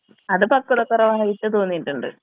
അത് പക്വത കുറവായിട്ട് തോന്നിയിട്ടുണ്ട്.